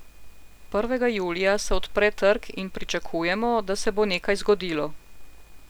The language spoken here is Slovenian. Prvega julija se odpre trg in pričakujemo, da se bo nekaj zgodilo.